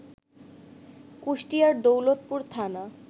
কুষ্টিয়ার দৌলতপুর থানা